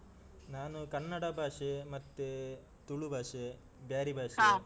ನಾನು ಕನ್ನಡ ಭಾಷೆ, ಮತ್ತೆ ತುಳು ಭಾಷೆ, ಬ್ಯಾರಿ .